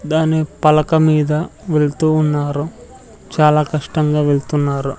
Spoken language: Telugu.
దాని పలక మీద వెళ్తూ ఉన్నారు చాలా కష్టంగా వెళ్తున్నారు.